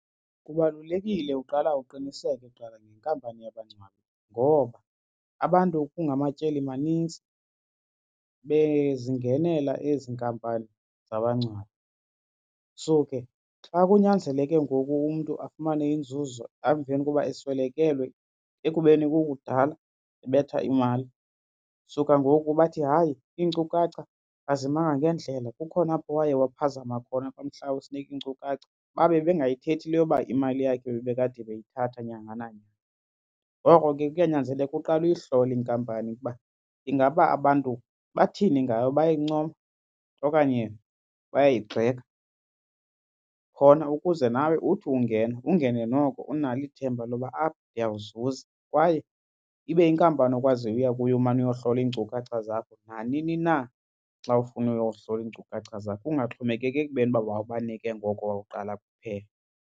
Kubalulekile uqala uqiniseke kuqala ngenkampani yabangcwabi ngoba abantu kungamatyeli manintsi bezingenela ezi nkampani zabangcwabi. So, ke xa kunyanzeleke ngoku umntu afumane inzuzo emveni koba eswelekelwe ekubeni kukudala ebetha imali suka ngoku bathi hayi iinkcukacha azimanga ngendlela kukhona apho waye waphazama khona kumhla wawusinika iinkcukacha babe bengayithethi le yoba imali yakhe bebekade beyithatha nyanga nanyanga. Ngoko ke kuyanyanzeleka uqale uyohlole inkampani ukuba ingaba abantu bathini ngayo, bayayincoma okanye bayayigxeka. Khona ukuze nawe uthi ungena ungene noko unalo ithemba loba apha ndiyawuzuza. Kwaye ibe yinkampani okwaziyo uya kuyo umane uyohlola iinkcukacha zakho nanini na xa ufuna uyohlola iinkcukacha zakho ungaxhomekeki ekubeni uba wawubanike ngoko wawuqala kuphela.